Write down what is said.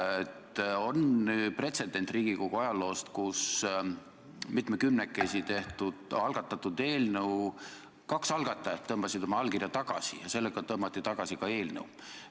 Riigikogu ajaloost on teada pretsedent, kui mitmekümnekesi algatatud eelnõult tõmbas kaks algatajat oma allkirja maha ja sellega võeti tagasi ka eelnõu.